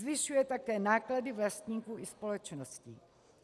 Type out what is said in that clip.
Zvyšuje také náklady vlastníků i společností.